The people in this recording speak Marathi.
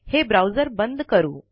हे ब्राऊज़र बंद करू